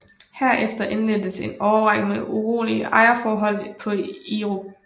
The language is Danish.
Herefter indledtes en årrække med urolige ejerforhold på Irup